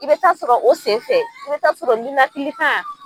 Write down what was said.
I bɛ taa sɔrɔ o senfɛ i bɛ taa sɔrɔ ninakili kan